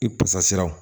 I pasa siraw